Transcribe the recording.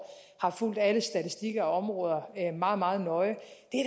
har fulgt alle statistikker og områder meget meget nøje